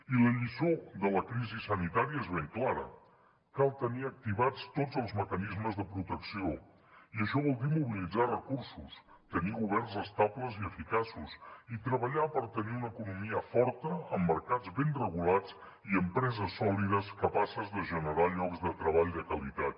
i la lliçó de la crisi sanitària és ben clara cal tenir activats tots els mecanismes de protecció i això vol dir mobilitzar recursos tenir governs estables i eficaços i treballar per tenir una economia forta amb mercats ben regulats i empreses sòlides capaces de generar llocs de treball de qualitat